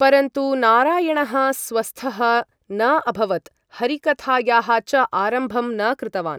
परन्तु नारायणः स्वस्थः न अभवत्, हरिकथायाः च आरम्भं न कृतवान्।